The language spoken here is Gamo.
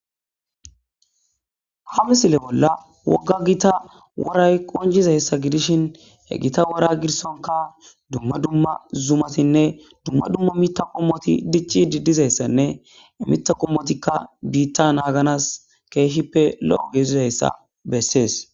Ha misile bolla wogga gita woray qoncizayssa gidishin he gita wora girsonka dumma dumma zumatinne dumma dumma mitta wommoti diccidi dizayssanne he miththa qommotika biita naaganas keehippe lo'o gidizayssa besees.